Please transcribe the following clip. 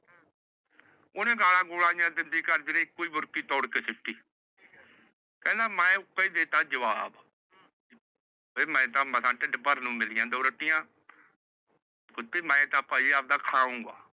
ਓਹਨੇ ਗਾਲਾਂ ਗੁਲਾਂ ਜਿਹੀਆਂ ਦੇਂਦੀ ਕਰਦੀ ਰਹੀ। ਤੇ ਬੁਰਕੀ ਤੋੜ ਕੇ ਸੁੱਟੀ । ਕਹਿੰਦਾ ਮੈ ਉੱਕਾ ਦੇਤਾ ਜਵਾਬ। ਵੀ ਮੈ ਤਾਂ ਮਸਾਂ ਢਿੱਡ ਭਰਨ ਨੂੰ ਮਿਲੀਆਂ ਦੋ ਰੋਟੀਆਂ ਕੁੱਤੀ ਮੈ ਤਾਂ ਭਾਈ ਆਵਦਾ ਖਾਊਂਗਾ।